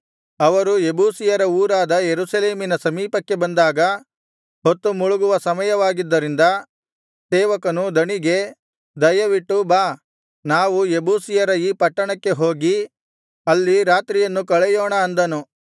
ಅವರು ಯೆಬೂಸಿಯರ ಊರಾದ ಯೆರೂಸಲೇಮಿನ ಸಮೀಪಕ್ಕೆ ಬಂದಾಗ ಹೊತ್ತುಮುಳುಗುವ ಸಮಯವಾಗಿದ್ದರಿಂದ ಸೇವಕನು ದಣಿಗೆ ದಯವಿಟ್ಟು ಬಾ ನಾವು ಯೆಬೂಸಿಯರ ಈ ಪಟ್ಟಣಕ್ಕೆ ಹೋಗಿ ಅಲ್ಲಿ ರಾತ್ರಿಯನ್ನು ಕಳೆಯೋಣ ಅಂದನು